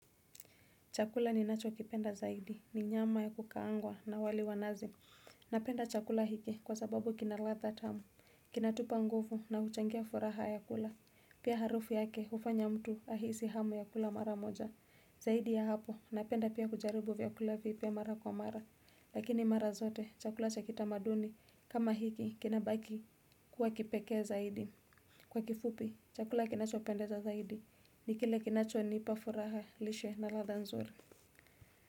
Chakula ninacho kipenda zaidi, ni nyama ya kukaangwa na wali wa nazi. Napenda chakula hiki kwa sababu kina latha tamu, kina tupa nguvu na huchangia furaha ya kula. Pia harufu yake hufanya mtu ahisi hamu ya kula mara moja. Zaidi ya hapo, napenda pia kujaribu vyakula vipya mara kwa mara. Lakini mara zote, chakula cha kitamaduni, kama hiki, kina baki kuwa kipekee zaidi. Kwa kifupi, chakula kinacho pendeza zaidi, ni kile kinacho nipa furaha, lishe na latha nzuri.